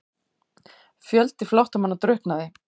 Fjöldi flóttamanna drukknaði